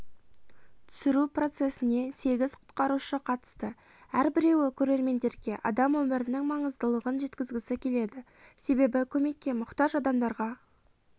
түсіру процессіне сегіз құтқарушы қатысты әрбіреуі көрерменге адам өмірінің маңыздылығын жеткізгісі келеді себебі көмекке мұқтаж адамдарға